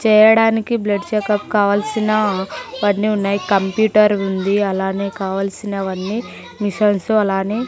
చేయడానికి blood checkup కావల్సిన వన్నీ ఉన్నాయి కంప్యూటర్ ఉంది అలానే కావాల్సినవన్నీ మిషన్సు అలానే--